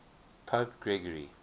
pope gregory